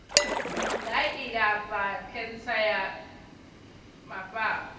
nga ilafha khentsa ya mafhafhu